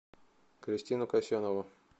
кристину касьянову